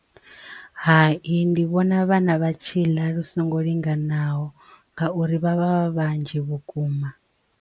Hai ndi vhona vhana vha tshi ḽa lu songo linganaho ngauri vha vha vha vhanzhi vhukuma.